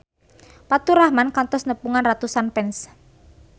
Faturrahman kantos nepungan ratusan fans